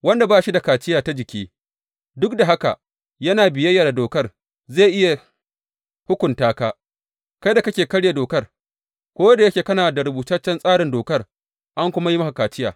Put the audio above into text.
Wanda ba shi da kaciya ta jiki duk da haka yana biyayya da dokar zai iya hukunta ka, kai da kake karya dokar, ko da yake kana da rubutaccen tsarin dokar an kuma yi maka kaciya.